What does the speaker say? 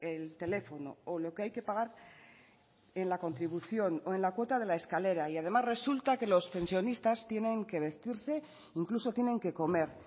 el teléfono o lo que hay que pagar en la contribución o en la cuota de la escalera y además resulta que los pensionistas tienen que vestirse incluso tienen que comer